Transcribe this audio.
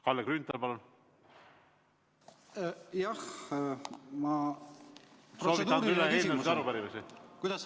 Kalle Grünthal, palun!